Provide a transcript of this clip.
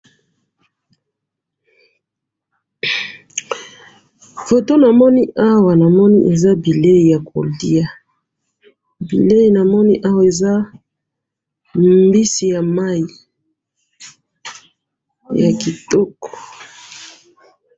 Na moni mbisi ya mai ya kitoko na sani.